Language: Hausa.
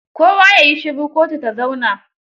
Kowa ya yi shiru, kotu ta zauna!